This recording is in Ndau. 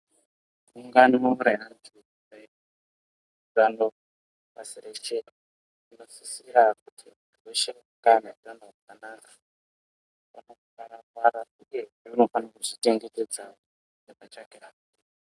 Ungano reantu eutanowo pasi reshe zvinosisira kuti muntu wese ange ane utano hwakanaka uyezve unofanira kuzvichengetedza.